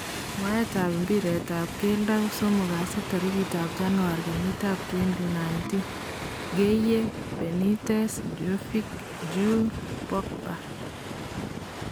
Mwaetap mbiretap geldo kosomok kasi tarikit ab januar kenyit ab twendi nindin ,Gueye, Benitez, Jovic, Dju, Pogba